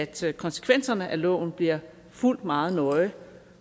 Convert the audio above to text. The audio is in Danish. til at konsekvenserne af loven bliver fulgt meget nøje